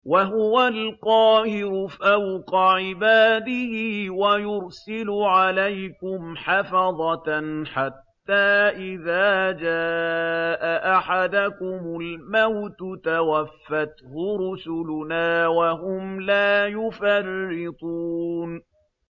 وَهُوَ الْقَاهِرُ فَوْقَ عِبَادِهِ ۖ وَيُرْسِلُ عَلَيْكُمْ حَفَظَةً حَتَّىٰ إِذَا جَاءَ أَحَدَكُمُ الْمَوْتُ تَوَفَّتْهُ رُسُلُنَا وَهُمْ لَا يُفَرِّطُونَ